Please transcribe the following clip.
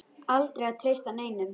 Aldrei að treysta neinum.